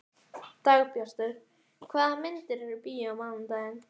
Dagbjartur, hvaða myndir eru í bíó á mánudaginn?